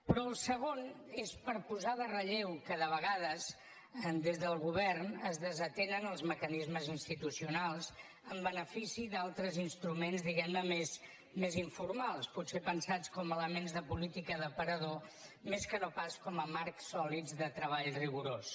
però el segon és per posar en relleu que de vegades des del govern es desatenen els mecanismes institucionals en benefici d’altres instruments diguemne més informals potser pensats com a elements de política d’aparador més que no pas com a marcs sòlids de treball rigorós